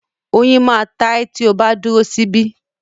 Oyin máa ta ẹ́ tí o bá dúró sí bí